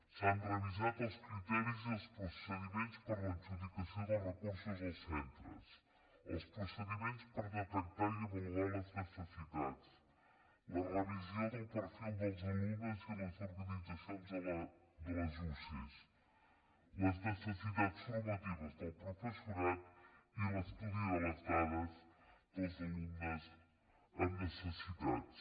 s’han revisat els criteris i els procediments per a l’adjudicació dels recursos als centres els procediments per detectar i avaluar les necessitats la revisió del perfil dels alumnes i les organitzacions de les usee les necessitats formatives del professorat i l’estudi de les dades dels alumnes amb necessitats